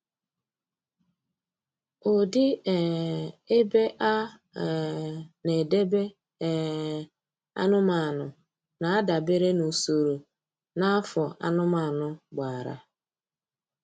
Ụdị um ebe a um na-edebe um anụmanụ na-adabere n'usoro na afọ anụmanụ gbara